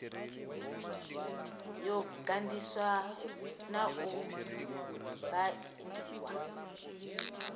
yo ganḓiswa na u baindiwa